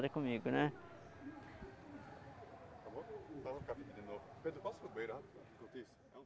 comigo, né? Pedro, posso ir no banheiro rapidão enquanto isso?